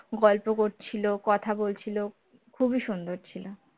গল্প করছিল কথা বলছিল খুবই সুন্দর ছিল